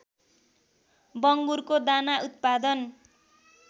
बङ्गुरको दाना उत्पादन